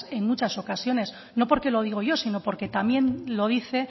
en muchas ocasiones no porque lo digo yo sino porque también lo dice